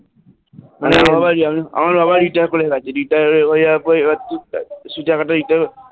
মানে আমার বাবা আমার বাবা retire করে গেছে এর retire হয়ে যাবার পরে এবার সেই টাকাটা দিতে হবে